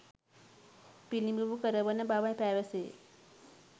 පිළිබිඹු කරවන බව පැවසේ.